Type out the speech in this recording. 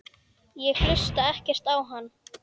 Ég hlusta ekkert á hann.